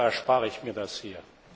Als Deutscher erspare ich mir das hier.